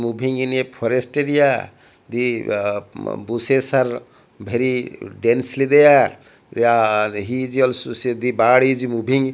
moving in a forest area the uh bushes are very densely there also said the body is moving --